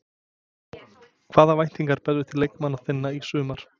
Hvaða væntingar berðu til leikmanna þinna í sumar?